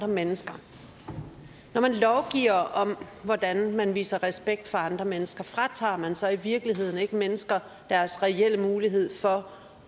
mennesker når man lovgiver om hvordan man viser respekt for andre mennesker fratager man så i virkeligheden ikke mennesker deres reelle mulighed for